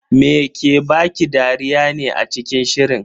Me ke baki dariya ne a cikin shirin?